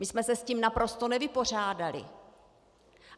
My jsme se s tím naprosto nevypořádali.